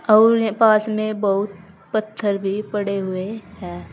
और पास में बहुत पत्थर भी पड़े हुए हैं।